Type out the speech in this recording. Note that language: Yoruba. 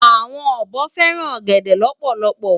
Awòn òbò fèrán ògèdè lòpòlòpò